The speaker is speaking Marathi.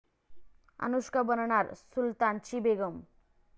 अनुष्का बनणार 'सुलतान'ची बेगम